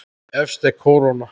Efst er kóróna.